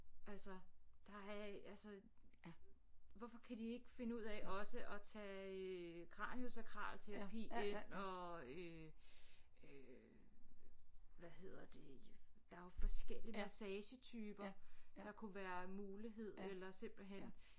Altså der er altså hvorfor kan de ikke finde ud af også at tage øh kranio-sakral terapi ind og øh øh hvad hedder det der er jo forskellige massagetyper der kunne være mulighed eller simpelthen